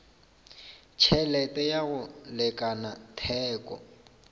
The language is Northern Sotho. tšhelete ya go lekana theko